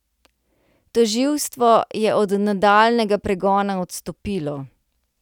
Tožilstvo je od nadaljnjega pregona odstopilo.